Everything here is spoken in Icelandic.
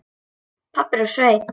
Pabbi er úr sveit.